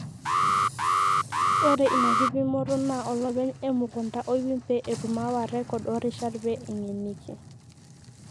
Ore ina kipimoto naa olopeny emukunta oipim pee etum aawa rrekod oo rishat pee eng'eniki.